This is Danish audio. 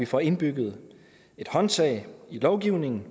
får indbygget et håndtag i lovgivningen